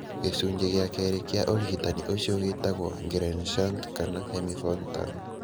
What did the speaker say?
Gĩcunjĩ gĩa kerĩ kĩa ũrigitani ũcio gĩtagwo Glenn shunt kana hemi Fontan.